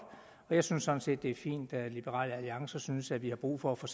og jeg synes sådan set at det er fint at liberal alliance synes at vi har brug for at få